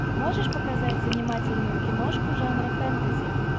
можешь показать занимательную киношку жанра фэнтези